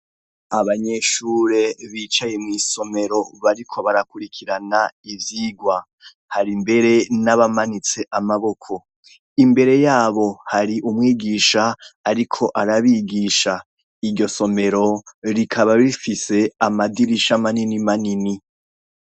abanyeshure bicaye wisomero bariko barakurikirana ibyigwa hari mbere n'abamanitse amaboko imbere yabo hari umwigisha ariko arabigisha iryo somero rikaba bifise amadirisha manini manini